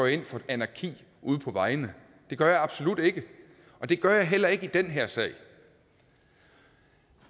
ind for anarki ude på vejene det gør jeg absolut ikke og det gør jeg heller ikke i den her sag